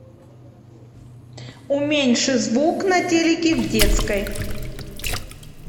уменьши звук на телике в детской